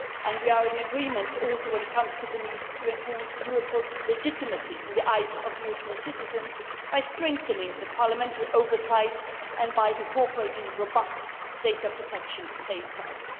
We are also in agreement when it comes to the need to enhance Europol's legitimacy in the eyes of European citizens by strengthening parliamentary oversight and incorporating robust data protection safeguards.